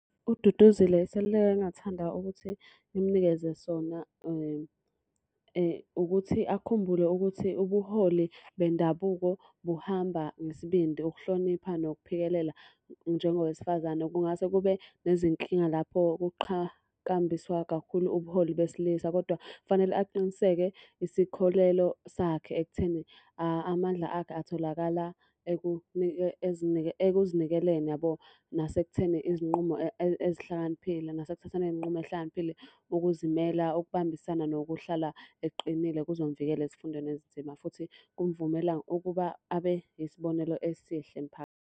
UDuduzile iseluleko engingathanda ukuthi ngimnikeze sona ukuthi akhumbule ukuthi ubuholi bendabuko buhamba ngesibindi, ukuhlonipha, nokuphikelela. Njengowesifazane kungase kube nezinkinga lapho kuqhakambiswa kakhulu ubuholi besilisa, kodwa fanele aqiniseke isikholelo sakhe ekutheni, amandla akhe atholakala ekuzinikeleni yabo. Nasekutheni izinqumo ezihlakaniphile nasekuthatheni iy'nqumo ey'hlakaniphile. Ukuzimela, ukubambisana, nokuhlala eqinile kuzomuvikela ezifundweni ezinzima, futhi kumvumela ukuba abe yisibonelo esihle .